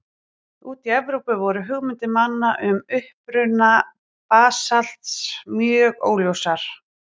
Úti í Evrópu voru hugmyndir manna um uppruna basalts mjög óljósar.